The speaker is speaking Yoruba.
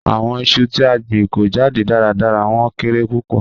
Awọn iṣu ti a gbin ko jade daradara, wọn kere pupọ.